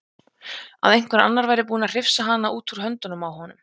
Að einhver annar væri búinn að hrifsa hana út úr höndunum á honum.